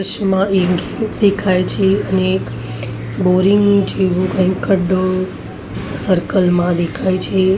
દેખાય છે અને એક બોરિંગ જેવુ કઇ ખડ્ડો સર્કલ મા દેખાય છે.